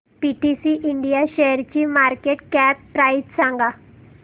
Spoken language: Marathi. पीटीसी इंडिया शेअरची मार्केट कॅप प्राइस सांगा